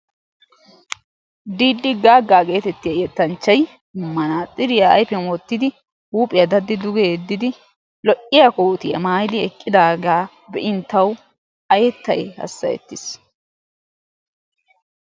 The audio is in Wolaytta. Diidi gaagga geetettiya yettanchchayi manaaxxiriya ayfiyan wottidi huuphiya daddi duge yeddidi lo"iya kootiya maayidi eqqidaagaa be"in tawu wolayttayi hassayettis.